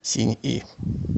синьи